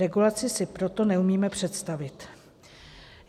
Regulaci si proto neumíme představit."